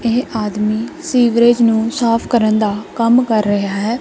ਇਹ ਆਦਮੀ ਸੀਵਰੇਜ ਨੂੰ ਸਾਫ ਕਰਨ ਦਾ ਕੰਮ ਕਰ ਰਿਹਾ ਹੈ।